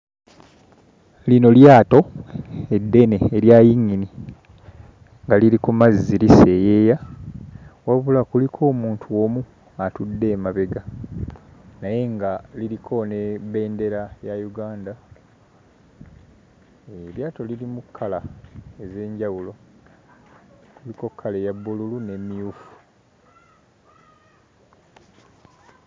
Lino lyato eddene erya yingini nga liri ku mazzi liseeyeeya wabula kuliko omuntu omu atudde emabega naye nga liriko ne bbendera ya Uganda, eryato lirimu kkala ez'enjawulo, kuliko kkala eya bbululu n'emmyufu.